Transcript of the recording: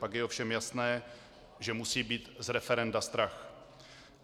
Pak je ovšem jasné, že musí být z referenda strach.